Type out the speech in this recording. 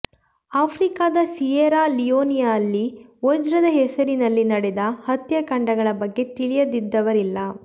ಆಫ್ರಿಕಾದ ಸಿಯೆರಾ ಲಿಯೋನೆಯಲ್ಲಿ ವಜ್ರದ ಹೆಸರಿನಲ್ಲಿ ನಡೆದ ಹತ್ಯಾಕಾಂಡಗಳ ಬಗ್ಗೆ ತಿಳಿಯದವರಿಲ್ಲ